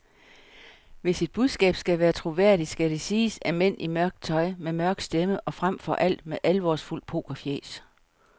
Hvis et budskab skal være troværdigt, skal det siges af mænd i mørkt tøj, med mørk stemme og frem for alt med alvorsfuldt pokerfjæs.